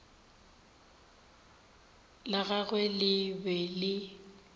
la gagwe le be le